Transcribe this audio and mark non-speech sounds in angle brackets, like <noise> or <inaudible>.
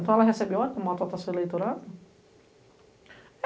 Então ela recebe <unintelligible> para uma autotação eleitoral?